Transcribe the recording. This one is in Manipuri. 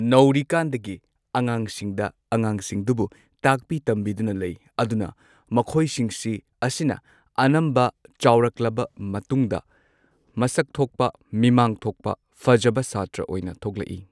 ꯅꯧꯔꯤꯀꯥꯟꯗꯒꯤ ꯑꯉꯥꯡꯁꯤꯡꯗ ꯑꯉꯥꯡꯁꯤꯡꯗꯨꯕꯨ ꯇꯥꯛꯄꯤ ꯇꯝꯕꯤꯗꯨꯅ ꯂꯩ ꯑꯗꯨꯅ ꯃꯈꯣꯏꯁꯤꯡꯁꯤ ꯑꯁꯤꯅ ꯑꯅꯝꯕ ꯆꯥꯎꯔꯛꯂꯕ ꯃꯇꯨꯡꯗ ꯃꯤꯃꯥꯡ ꯃꯁꯛꯊꯣꯛꯄ ꯃꯤꯃꯥꯡ ꯊꯣꯛꯄ ꯐꯖꯕ ꯁꯥꯇ꯭ꯔ ꯑꯣꯏꯅ ꯊꯣꯛꯂꯛꯏ꯫